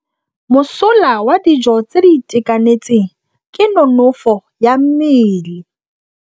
Mosola wa dijô tse di itekanetseng ke nonôfô ya mmele.